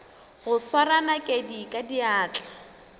go swara nakedi ka diatla